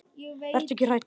Vertu ekki hrædd.